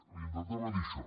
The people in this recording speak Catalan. li intentava dir això